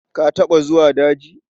Ka taɓa zuwa daji?